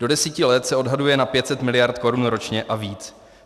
Do deseti let se odhaduje na 500 mld. korun ročně a víc.